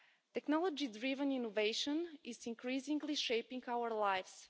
Technology driven innovation is increasingly shaping our lives.